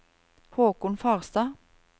Haakon Farstad